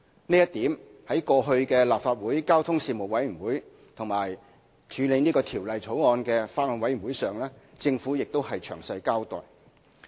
這一點在過去立法會交通事務委員會及審議《條例草案》的法案委員會上，政府已作出詳細交代。